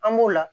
An b'o la